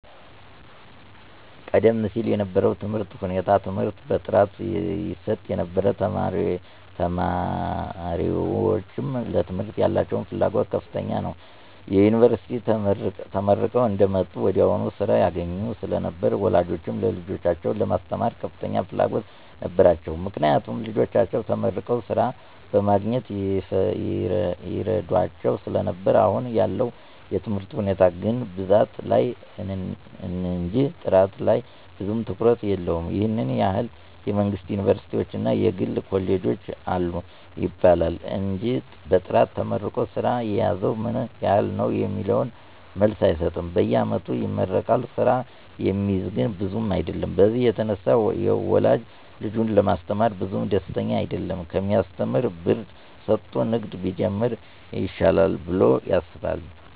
ቀደም ሲል የነበረው የትምህርት ሁኔታ ትምህርት በጥራት ይሰጥ ነበር ተማሪወችም ለትምህርት ያላቸው ፍላጎት ከፍተኛ ነው። ዮኒቨርስቲ ተመርቀው አንደወጡ ወዲያው ስራ ያገኙ ስለነበር ወላጆችም ልጆቻቸውን ለማስተማር ከፍተኛ ፍላጎት ነበራቸው። ምክንያቱም ልጆቻቸው ተመርቀው ስራ በማግኘት ይረዷቸው ስለነበር አሁን ያለው የትምህርት ሁኔታ ግን ብዛት ላይ እንጅ ጥራት ላይ ብዙም ትኩረት የለውም ይህን ያህል የመንግስት ዮኒቨርስቲወች እና የግል ኮሌጆች አሉ ይባላል እንጅ በጥራት ተመርቆ ስራ የያዘው ምን ያህል ነው የሚለውን መልስ አይሰጥም በየአመቱ ይመረቃል ስራ የሚይዝ ግን ብዙም አይደለም በዚህ የተነሳ ወላጅ ልጁን ለማስተማር ብዙም ደስተኛ አይደለም ከሚያሰተምር ብር ሰጦ ንግድ ቢጀምር ይሻላል ብሎ ያስባል።